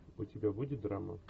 у тебя будет драма